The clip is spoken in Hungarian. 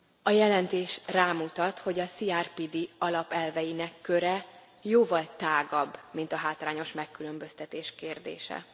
A jelentés rámutat, hogy a CRPD alapelveinek köre jóval tágabb, mint a hátrányos megkülönböztetés kérdése.